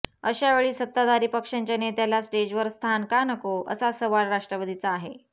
अशा वेळी सत्ताधारी पक्षाच्या नेत्याला स्टेजवर स्थान का नको असा सवाल राष्ट्रवादीचा आहे